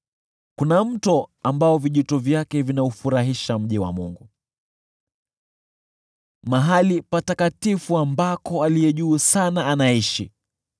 Kuna mto ambao vijito vyake vinaufurahisha mji wa Mungu, mahali patakatifu ambako Aliye Juu Sana anaishi.